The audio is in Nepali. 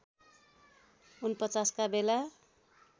४९ का बेला